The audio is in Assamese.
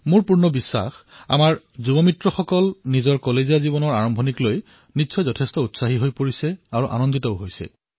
মোৰ সম্পূৰ্ণ বিশ্বাস যে মোৰ যুৱ মিত্ৰসকল মহাবিদ্যালয়ৰ জীৱনৰ আৰম্ভণক লৈ অত্যন্ত উৎসাহী আৰু সুখী হব